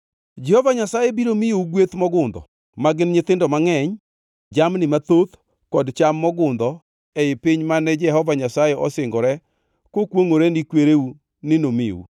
Jehova Nyasaye biro miyou gweth mogundho; ma gin nyithindo mangʼeny, jamni mathoth kod cham mogundho e piny mane Jehova Nyasaye osingore kokwongʼore ni kwereu ni nomiu.